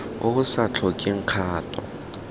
o o sa tlhokeng kgato